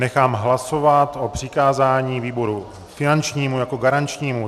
Nechám hlasovat o přikázání výboru finančnímu jako garančnímu.